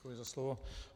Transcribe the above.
Děkuji za slovo.